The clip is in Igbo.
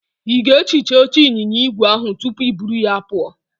Ị ga-ehicha oche ịnyịnya igwe ahụ tupu i buru ya pụọ?